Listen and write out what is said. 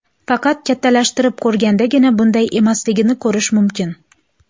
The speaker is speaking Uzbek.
Faqat kattalashtirib ko‘rgandagina bunday emasligini ko‘rish mumkin.